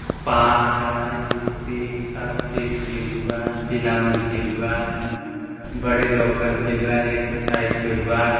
पार्क आय ईटी हर चीज केलुआय टीला मन केलुआय बड़े लोग पन केलुआय एक्सरसाइज करुआत।